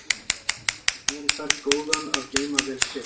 Það gerir hvern góðan að geyma vel sitt.